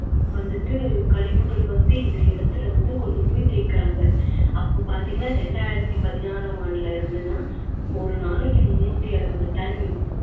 வந்துட்டு கழிவுகள் வந்து இந இடத்துல வந்து கொண்டுபோய் தேய்க்குறாங்க. அப்போ பாத்தீங்கன்னா இரண்டாயித்தி பதினாறாம் ஆண்டுல இருந்துன்னா ஒரு நாளைக்கு முண்ணூத்தி அறுவது ton